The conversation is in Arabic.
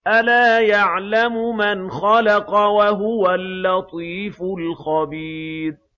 أَلَا يَعْلَمُ مَنْ خَلَقَ وَهُوَ اللَّطِيفُ الْخَبِيرُ